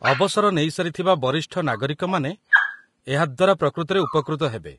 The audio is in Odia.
ଅବସର ନେଇସାରିଥିବା ବରିଷ୍ଠ ନାଗରିକମାନେ ଏହା ଦ୍ୱାରା ପ୍ରକୃତରେ ଉପକୃତ ହେବେ ।